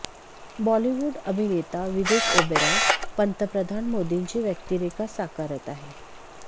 बॉलिवूड अभिनेता विवेक ओबेरॉय पंतप्रधान मोदींची व्यक्तिरेखा साकारत आहे